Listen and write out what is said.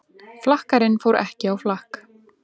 Flakkarinn fór ekki á flakk